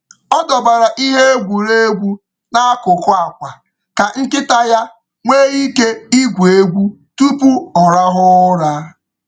Ọ dọbara ihe egwuregwu n’akụkụ akwa ka nkịta ya nwee ike igwu egwu tupu ọ rahụ ụra.